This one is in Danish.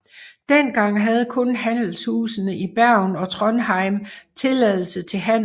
Dengang havde kun handelshusene i Bergen og Trondheim tilladelse til handel